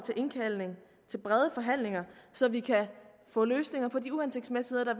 til brede forhandlinger så vi kan få løsninger på de uhensigtsmæssigheder